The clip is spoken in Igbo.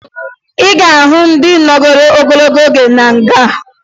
Ị ga-ahụ ndị nọgoro ogologo oge na nga